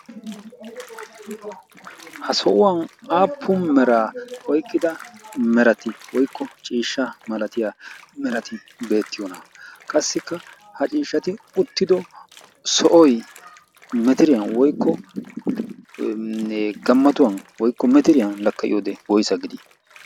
ha so'uwan aappu miraa oiqqida mirati woikko ciishsha malatiya mirati beettiyoona qassikka ha ciishshati uttido sohoy metiriyan woykkone gammatuwan woykko metiriyan lakkayiyo wode woysa gidii?